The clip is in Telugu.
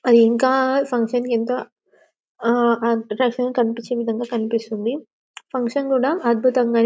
అవి ఇంకా ఫంక్షన్ కి ఎంతో ఆ అద్భుత-కనిపించే విదంగా కనిపిస్తుంది ఫంక్షన్ కూడా అద్భుతంగా --